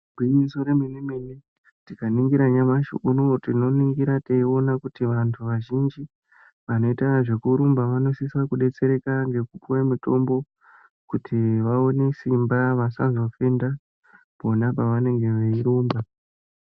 Igwinyiso remene-mene tikaningira nyamashi unowu tinoningira teiona kuti vantu vazhinji, vanoita zvekurumba vanosisa kudetsereka ngekupuwa mutombo kuti vaone simba vasazofenga pano pavanenge veirumba.